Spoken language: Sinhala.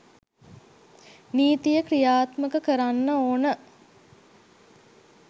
නීතිය ක්‍රියාත්මක කරන්න ඕන.